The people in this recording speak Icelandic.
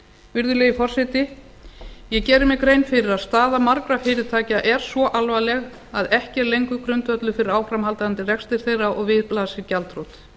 virðulegi forseti ég geri mér grein fyrir að staða margra fyrirtækja er svo alvarleg að ekki er lengur grundvöllur fyrir áframhaldandi rekstri þeirra og við blasir gjaldþrot